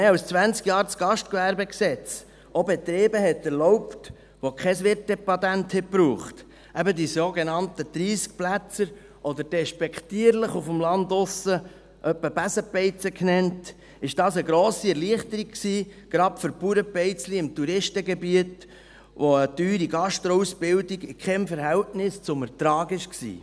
Als das Gastgewerbegesetz (GGG) vor mehr als zwanzig Jahren auch Betriebe erlaubte, die kein Wirtepatent brauchen – eben die sogenannten 30-Plätzer oder, despektierlich auf dem Land, etwa Besenbeizen genannt –, war dies eine grosse Erleichterung, gerade für Bauernbeizlein im Touristengebiet, wo eine teure Gastroausbildung in keinem Verhältnis zum Ertrag war.